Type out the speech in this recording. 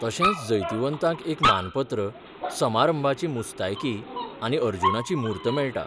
तशेंच जैतिवंतांक एकमानपत्र, समारंभाची मुस्तायकीआनी अर्जुनाची मूर्त मेळटा.